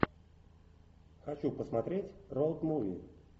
хочу посмотреть роуд муви